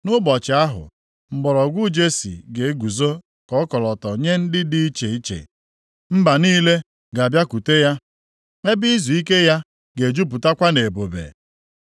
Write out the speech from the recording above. Nʼụbọchị ahụ, mgbọrọgwụ Jesi ga-eguzo ka ọkọlọtọ nye ndị dị iche iche. Mba niile ga-abịakwute ya; ebe izuike ya ga-ejupụtakwa nʼebube.